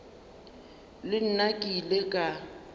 le nna ke ile ka